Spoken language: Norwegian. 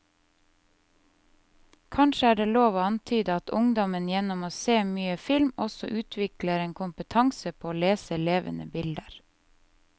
Kanskje er det lov å antyde at ungdom gjennom å se mye film også utvikler en kompetanse på å lese levende bilder.